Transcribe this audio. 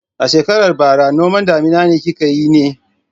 A shekarar bara noman damina kika yi ne?